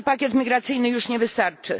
Nowy pakiet migracyjny już nie wystarczy.